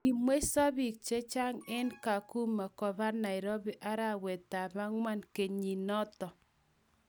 Kimweiso bik che chang' eng Kakuma koba Nairobi arawetab ang'wan kenyinito .